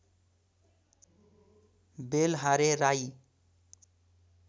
Belhare Rai